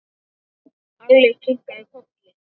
Alli kinkaði kolli.